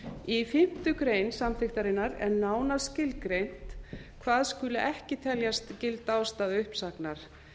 í fimmtu grein samþykktarinnar er nánar skilgreint hvað skuli ekki teljast gild ástæða uppsagnar